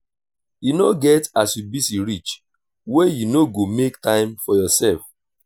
e no get as you busy reach wey you no go make time for yoursef.